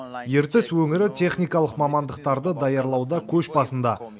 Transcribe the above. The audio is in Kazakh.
ертіс өңірі техникалық мамандықтарды даярлауда көш басында